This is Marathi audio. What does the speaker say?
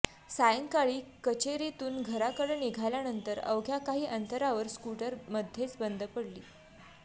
सायंकाळी कचेरीतून घराकडं निघाल्यानंतर अवघ्या काही अंतरावर स्कूटर मध्येच बंद पडली